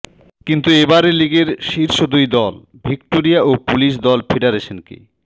কিন্তু এবারের লিগের শীর্ষ দুই দল ভিক্টোরিয়া ও পুলিশ দল ফেডারেশনকে